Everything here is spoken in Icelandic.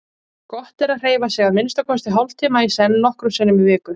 Gott er að hreyfa sig að minnsta kosti hálftíma í senn nokkrum sinnum í viku.